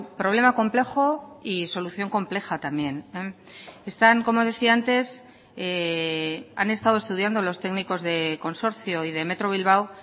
problema complejo y solución compleja también están como decía antes han estado estudiando los técnicos de consorcio y de metro bilbao